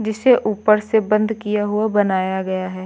जिसे ऊपर से बंद किया हुआ बनाया गया है।